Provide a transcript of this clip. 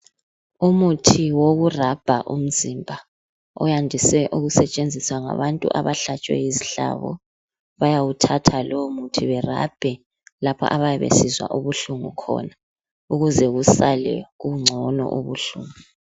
Umuthi woku rabha umzimba uyandise ukusetshenziswa ngabantu abahlatshwe yizihlabo bayawuthatha lowo muthi berabhe lapho abayabe besizwa ubuhlungu khona ukuze kusale kungcono ubuhlungu.